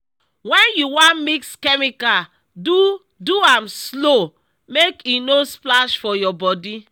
when you wan mix chemical do do am slow make e no splash for your body.